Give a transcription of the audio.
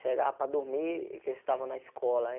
Chegava para dormir, que eles estavam na escola aí.